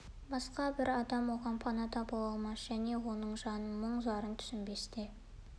басқа бір адам оған пана да бола алмас және оның жанын мұң-зарын түсінбес те